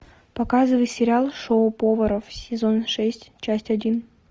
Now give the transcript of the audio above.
показывай сериал шоу поваров сезон шесть часть один